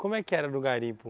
Como é que era no garimpo?